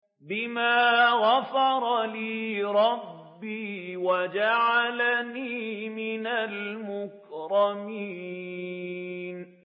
بِمَا غَفَرَ لِي رَبِّي وَجَعَلَنِي مِنَ الْمُكْرَمِينَ